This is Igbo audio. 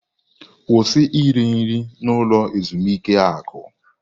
Kwụsị iri nri na ulo ezimuike akụ!